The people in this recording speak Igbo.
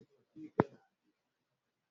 Esemokwu na-emebi mkpakọrịta mmadụ.